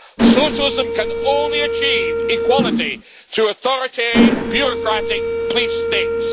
Socialism can only achieve equality through authoritarian bureaucratic police states.